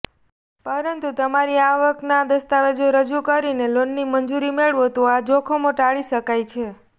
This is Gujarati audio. પરંતુ તમારી આવકના દસ્તાવેજો રજૂ કરીને લોનની મંજૂરી મેળવો તો આ જોખમ ટાળી શકાય છે